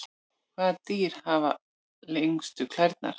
hvaða dýr hafa lengstu klærnar